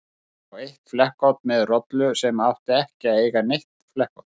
Ég sá eitt flekkótt með rollu sem átti ekki að eiga neitt flekkótt.